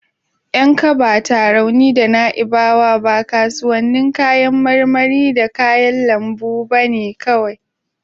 Yankaba, Tarauni da Na'ibawa ba kasuwannin kayan marmari da kayan lambu bane kawai.